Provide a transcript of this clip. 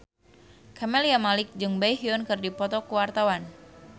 Camelia Malik jeung Baekhyun keur dipoto ku wartawan